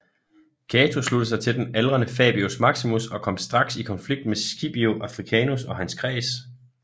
Cato sluttede sig til den aldrende Fabius Maximus og kom straks i konflikt med Scipio Africanus og hans kreds